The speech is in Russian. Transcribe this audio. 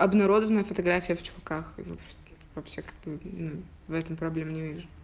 обнародованные фотография в чулках и во с вообще как бы в этом проблем не вижу